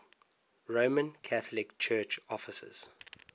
roman catholic church offices